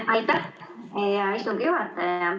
Aitäh, hea istungi juhataja!